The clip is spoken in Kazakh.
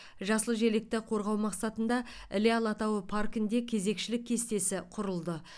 жасыл желекті қорғау мақсатында іле алатауы паркінде кезекшілік кестесі құрылды